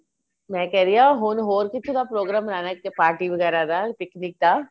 ਮੈਂ ਕਹਿ ਰਹੀ ਆ ਹੁਣ ਹੀਰ ਕਿੱਥੇ ਦਾ program ਬਨਾਣਾ party ਵਗੈਰਾ ਦਾ picnic ਦਾ